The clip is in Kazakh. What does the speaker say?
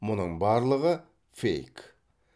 мұның барлығы фейк